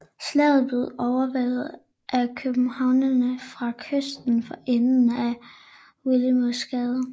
Slaget blev overværet af københavnerne fra kysten for enden af Willemoesgade